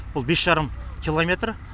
бұл бес жарым километр